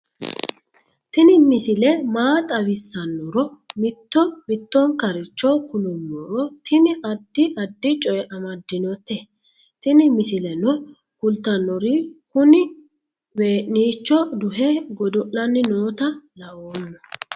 tini misile maa xawissannoro mito mittonkaricho kulummoro tini addi addicoy amaddinote tini misileno kultannori kuni wee'nicho duhe godo'lanni noota laooommo